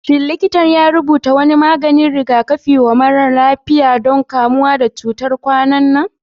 Shin likita ya rubuta wani maganin rigakafi wa mara lafiyan don kamuwa da cutar kwanan nan?